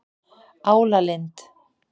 Álalind